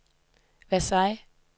Versailles